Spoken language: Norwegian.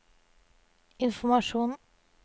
informasjon